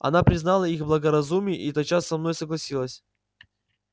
она признала их благоразумие и тотчас со мною согласилась